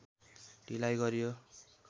ढिलाइ गरियो